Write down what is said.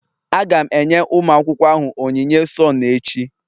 Aga m enye ụmụ akwụkwọ ahụ onyinye sone echi